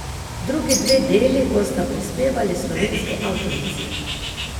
Drugi dve deli bosta prispevali slovenski avtorici.